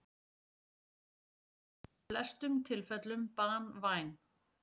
Hún er í flestum tilfellum banvæn.